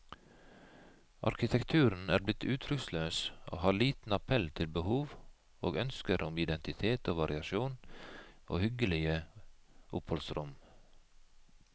Arkitekturen er blitt uttrykksløs og har liten appell til behov og ønsker om identitet i variasjon og hyggelige oppholdsrom.